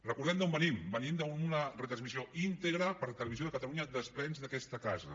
recordem d’on venim venim d’una retransmissió íntegra per televisió de catalunya dels plens d’aquesta casa